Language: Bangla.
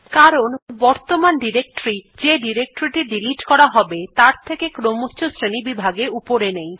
কারণ বর্তমান ডিরেক্টরী যে ডিরেক্টরী টি ডিলিট করা হবে তার থকে ক্রমচ্ছ শ্রেণীবিভাগে উপরে নেই